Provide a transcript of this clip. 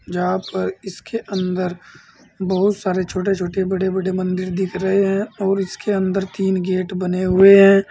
यहां पर इसके अंदर बहुत सारे छोटे छोटे बड़े बड़े मंदिर दिख रहे हैं और इसके अंदर तीन गेट बने हुए हैं।